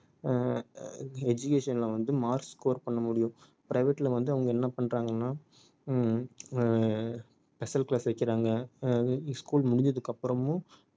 ஆஹ் education ல வந்து mark score பண்ண முடியும் private ல வந்து அவங்க என்ன பண்றாங்கன்னா ஹம் ஆஹ் special class வைக்கிறாங்க ஆஹ் school முடிஞ்சதுக்கு அப்புறமும்